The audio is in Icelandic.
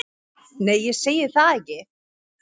Nei, ég segi það ekki.